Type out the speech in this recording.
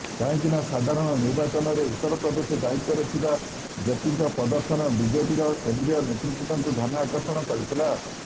କାହିଁକିନା ସାଧାରଣ ନିର୍ବାଚନରେ ଉତ୍ତରପ୍ରଦେଶ ଦାୟିତ୍ୱରେ ଥିବା ଜେପିଙ୍କ ପ୍ରଦର୍ଶନ ବିଜେପିର କେନ୍ଦ୍ରୀୟ ନେତୃବୃନ୍ଦଙ୍କୁ ଧ୍ୟାନ ଆକର୍ଷଣ କରିଥିଲା